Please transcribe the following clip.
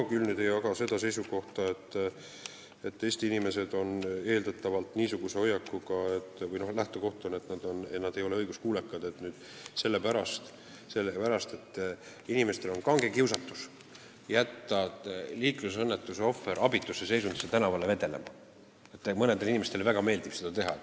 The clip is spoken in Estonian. Ma küll ei jaga seisukohta, nagu Eesti inimesed oleksid eeldatavalt niisuguse hoiakuga, et nad ei ole õiguskuulekad, nagu lähtekoht oleks, et neil on kange kiusatus jätta liiklusõnnetuse ohver abitus seisundis tänavale vedelema, et mõnele inimesele nagu väga meeldiks seda teha.